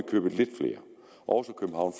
købet lidt flere aarhus og